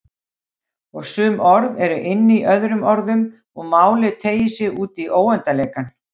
Og sum orð eru inní öðrum orðum og málið teygir sig útí óendanleikann.